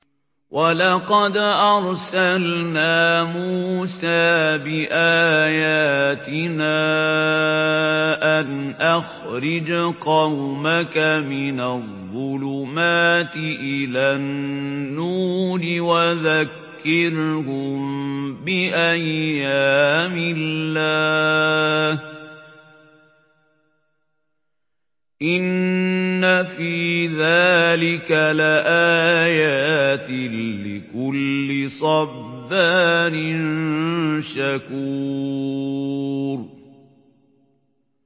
وَلَقَدْ أَرْسَلْنَا مُوسَىٰ بِآيَاتِنَا أَنْ أَخْرِجْ قَوْمَكَ مِنَ الظُّلُمَاتِ إِلَى النُّورِ وَذَكِّرْهُم بِأَيَّامِ اللَّهِ ۚ إِنَّ فِي ذَٰلِكَ لَآيَاتٍ لِّكُلِّ صَبَّارٍ شَكُورٍ